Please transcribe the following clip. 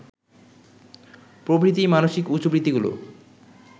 প্রভৃতি মানসিক উচ্চবৃত্তিগুলি